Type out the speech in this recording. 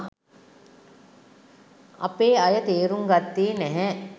අපේ අය තේරුං ගත්තේ නැහැ